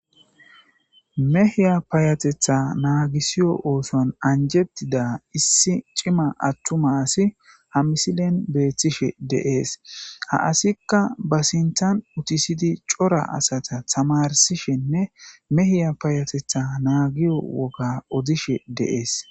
Mehiya payatetha naagisiyo ooson anjettida issi cima attuma asi ha misilen beethtishe deees ha asikka ba sintan utisidi cora asata tamarsishenne mehiya payatetha naagiyo woga odishe deees